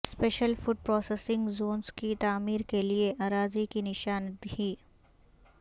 special food processing zones کی تعمیر کیلئے اراضی کی نشاندہی